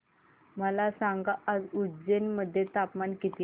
मला सांगा आज उज्जैन मध्ये तापमान किती आहे